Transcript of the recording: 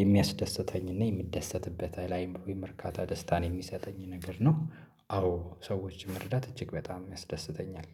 የሚያስደስተኝና የሚደሰትበት ላይምሮዬም እርካታ ደስታን የሚሰጠኝ ነገር ነው። አዎ ሰዎች መርዳት እጅግ በጣም ያስደስተኛል